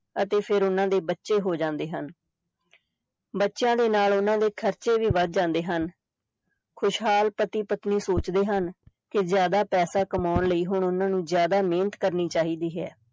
ਅਤੇ ਫਿਰ ਉਹਨਾਂ ਦੇ ਬੱਚੇ ਹੋ ਜਾਂਦੇ ਹਨ ਬੱਚੇ ਦੇ ਨਾਲ ਉਹਨਾਂ ਦੇ ਖ਼ਰਚੇ ਵੀ ਵੱਧ ਜਾਂਦੇ ਹਨ, ਖ਼ੁਸ਼ਹਾਲ ਪਤੀ ਪਤਨੀ ਸੋਚਦੇ ਹਨ ਕਿ ਜ਼ਿਆਦਾ ਪੈਸਾ ਕਮਾਉਣ ਲਈ ਹੁਣ ਉਹਨਾਂ ਨੂੰ ਜ਼ਿਆਦਾ ਮਿਹਨਤ ਕਰਨੀ ਚਾਹੀਦੀ ਹੈ।